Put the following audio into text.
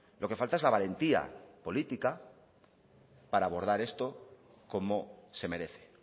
lo que falta es la valentía política para abordar esto como se merece